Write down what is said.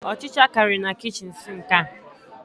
Ọchicha kariri na kichin sinki ha